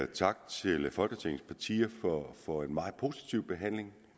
tak til folketingets partier for en meget positiv behandling